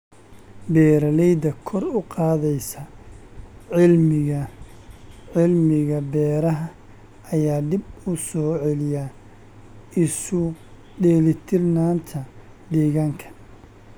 Beeralayda kor u qaadaysa cilmiga cilmiga beeraha ayaa dib u soo celiya isu dheelitirnaanta deegaanka.